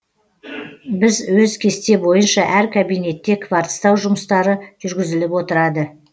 біз өз кесте бойынша әр кабинетте кварцтау жұмыстары жүргізіліп отырады